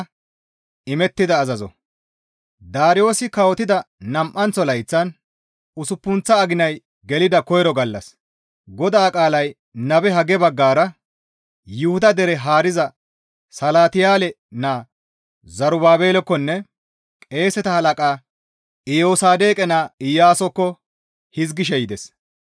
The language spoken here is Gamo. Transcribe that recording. Daariyoosi kawotida nam7anththo layththan usuppunththa aginay gelida koyro gallas, GODAA qaalay nabe Hagge baggara Yuhuda dere haariza Salatiyaale naa Zerubaabelekkonne Qeeseta halaqa Iyosaadoqe naa Iyaasokko hizgishe yides.